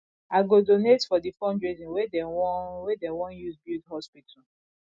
i go donate for di fundraising wey dey wan wey dey wan use build hospital